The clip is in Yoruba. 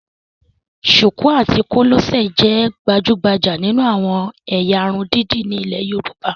Ṣùkú àti kòlẹ́sẹ̀ jẹ́ gbajúgbajà nínú àwọn ẹ̀yà irun dídì ní ilé Yorùbá